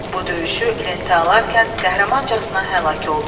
Bu döyüşü lentə alarkən qəhrəmancasına həlak oldu.